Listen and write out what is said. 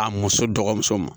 A muso dɔgɔmuso ma